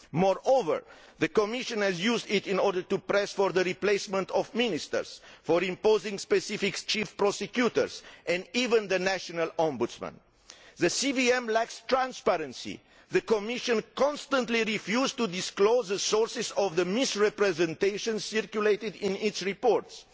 Moreover, the Commission has used it to press for the replacement of ministers, and to impose specific chief prosecutors and even the national ombudsman. The CVM lacks transparency the Commission has constantly refused to disclose the sources of the misrepresentations circulated in its reports.